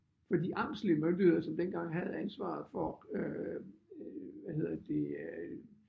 For de amtslige myndigheder som dengang havde ansvaret for øh hvad hedder det øh